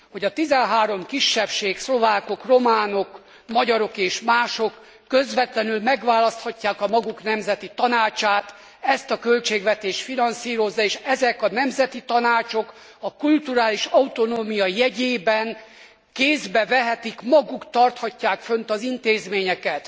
Hogy a tizenhárom kisebbség, szlovákok, románok, magyarok és mások közvetlenül megválaszthatják a maguk nemzeti tanácsát, ezt a költségvetés finanszírozza és ezek a nemzeti tanácsok a kulturális autonómia jegyében kézbe vehetik, maguk tarthatják fönt az intézményeket.